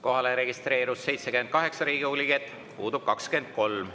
Kohalolijaks registreerus 78 Riigikogu liiget, puudub 23.